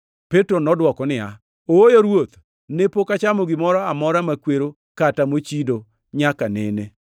Petro nodwoko niya, “Ooyo Ruoth! Ne pok achamo gimoro amora makwero kata mochido nyaka nene.”